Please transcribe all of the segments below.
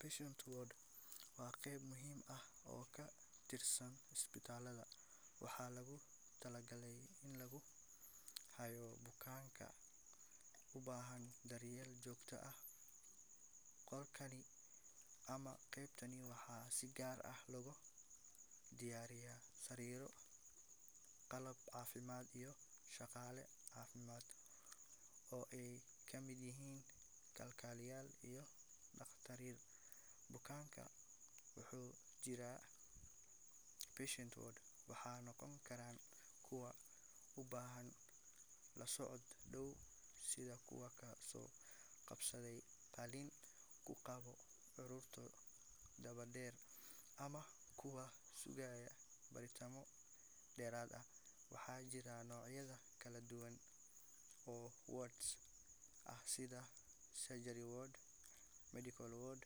patient ward wa geb muxiim ah oo katirsan ispitalada, waxa logutalagalay ini laguhayo bukanka ubhan daeyel jogta ah golkani ama gebtani waxa si gaar ah logubaraya sariro qalab cafimad iyo shagale cafimad oo ay kamid yixiin shagalo iyo daktatiin, bukanka wuxu jiraa patient ward wana nogonkaran kuwa ubahan lasocot dow sidha kuwa kaaso gabsaday talin kugawo huruntu dawa deer ama kuwa kuqayo baritamoo derat ah, waxa jiraa nocyada kaladuwan oo codsi ah sidha surgery ward, medical ward,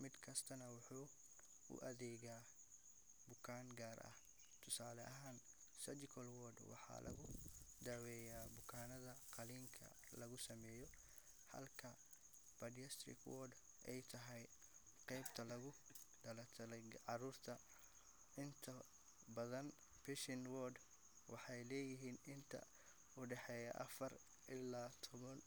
midkastana wuxu uadega bukan gaar qaar ah tusae ahan surgical ward waxa lagudaweya bukanada qalinka lagusameyo, inta badan patient ward waxay leyixiin inta udaheya afar ila tawan.